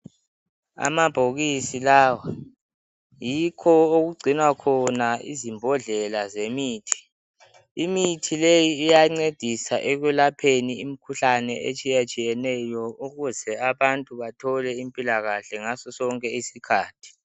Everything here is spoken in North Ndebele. Amabhokisi lawa yikho okugcinwa khona izimbodlela zemithi. Imithi leyi iyancedisa ekwelapheni imikhuhlane etshiyatshiyeneyo ukuze abantu bathole impilakahle ngaso sonke isikhathi.